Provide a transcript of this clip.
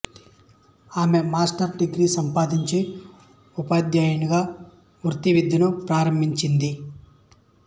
ఆమె master's degree సంపాదించి ఉపాధ్యాయినిగా వృత్తి విద్యను ప్రారంభించింది